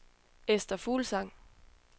Ester Fuglsang